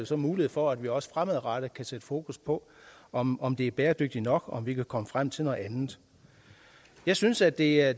så mulighed for at vi også fremadrettet kan sætte fokus på om om det er bæredygtigt nok om vi kan komme frem til noget andet jeg synes at det er